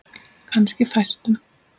Kannski fæstum.